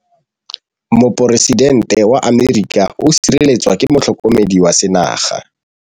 Poresitêntê wa Amerika o sireletswa ke motlhokomedi wa sengaga.